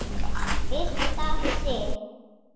Birta Sif.